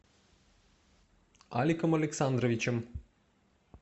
аликом александровичем